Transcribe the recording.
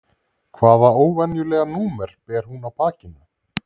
Hvaða óvenjulega númer ber hún á bakinu?